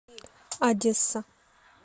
одесса